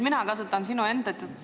Mina kasutan sinu enda tsitaati.